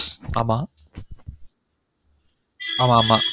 ஆமாம் ஆமா ஆமா